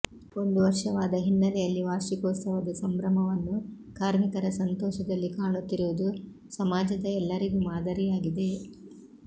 ಒಂದು ವರ್ಷವಾದ ಹಿನ್ನೆಲೆಯಲ್ಲಿ ವಾರ್ಷಿಕೋತ್ಸವದ ಸಂಭ್ರಮವನ್ನು ಕಾರ್ಮಿಕರ ಸಂತೋಷದಲ್ಲಿ ಕಾಣುತ್ತಿರುವುದು ಸಮಾಜದ ಎಲ್ಲರಿಗೂ ಮಾದರಿಯಾಗಿದೆ